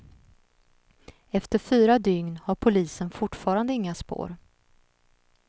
Efter fyra dygn har polisen fortfarande inga spår.